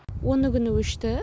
оны күні өшті